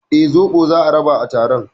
Eh, zobo za a raba a taron